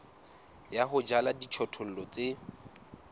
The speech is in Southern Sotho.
ya ho jala dijothollo tse